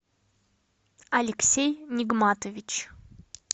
алексей нигматович